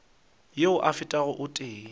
yeo e fetago o tee